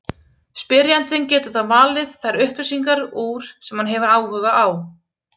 Spyrjandinn getur þá valið þær upplýsingar úr sem hann hefur áhuga á.